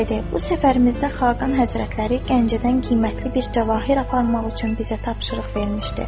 Bu səfərimizdə Xaqan Həzrətləri Gəncədən qiymətli bir cavahir aparmaq üçün bizə tapşırıq vermişdi.